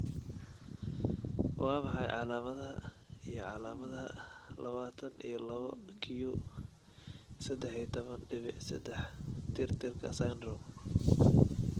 Waa maxay calaamadaha iyo astamaha lawatan iyo lawo q seddax iyo tobaan dhibic seddax tirtirka syndrome?